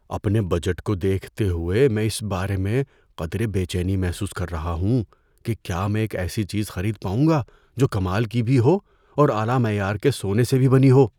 اپنے بجٹ کو دیکھتے ہوئے، میں اس بارے میں قدرے بے چینی محسوس کر رہا ہوں کہ کیا میں ایک ایسی چیز خرید پاؤں گا جو کمال کی بھی ہو اور اعلی معیار کے سونے سے بھی بنی ہو۔